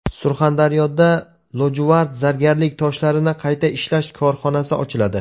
Surxondaryoda lojuvard zargarlik toshlarini qayta ishlash korxonasi ochiladi.